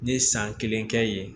N ye san kelen kɛ yen